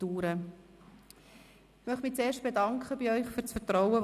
Ich möchte mich zuerst für das Vertrauen bedanken, das Sie mir geschenkt haben.